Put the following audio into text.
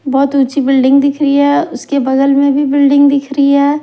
बहुत ऊंची बिल्डिंग दिख रही है उसके बगल में भी बिल्डिंग दिख रही है।